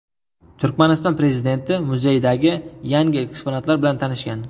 Turkmaniston prezidenti muzeydagi yangi eksponatlar bilan tanishgan.